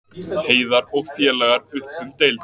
Heiðar og félagar upp um deild